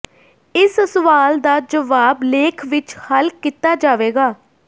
ਇਸ ਸਵਾਲ ਦਾ ਜਵਾਬ ਲੇਖ ਵਿੱਚ ਹੱਲ ਕੀਤਾ ਜਾਵੇਗਾ